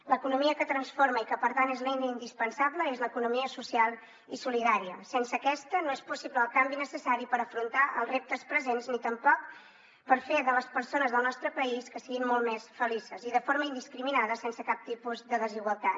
l’economia que transforma i que per tant és l’eina indispensable és l’economia social i solidària sense aquesta no és possible el canvi necessari per afrontar els reptes presents ni tampoc per fer que les persones del nostre país siguin molt més felices i de forma indiscriminada sense cap tipus de desigualtat